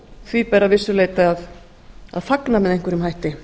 því ber að vissu leyti að fagna með einhverjum hætti